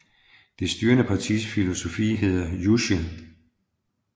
Det styrende partis filosofi hedder Juche